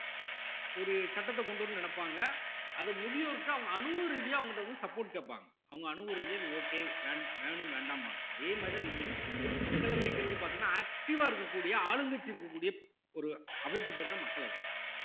ஒரு சட்டத்தை கொண்டு வரணும்ன்னு நினைப்பாங்க அத முதியோர்க்கு அவுங்க அனுபவ ரீதியா அவங்க கிட்ட வந்து support கேட்பாங்க அவுங்க அனுபவ ரீதியா இது okay வே~ வேணும் வேண்டாம்பாங்க அதே மாதிரிதான் இங்கேயும் இந்த மக்களவைங்கிறது பார்த்தீங்கன்னா active ஆ இருக்கக்கூடிய ஆளுங்கட்சி இருக்கக்கூடிய ஒரு அவைக்கு பெயர்தான் மக்களவை